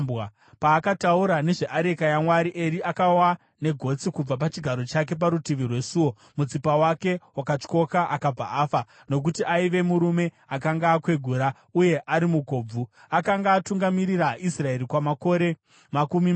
Paakataura nezveareka yaMwari, Eri akawa negotsi kubva pachigaro chake parutivi rwesuo. Mutsipa wake wakatyoka akabva afa nokuti aiva murume akanga akwegura uye ari mukobvu. Akanga atungamirira Israeri kwamakore makumi mana.